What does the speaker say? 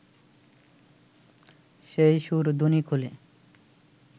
সেই সুরধুনী-কূলে